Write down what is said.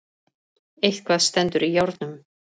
Eitthvað stendur í járnum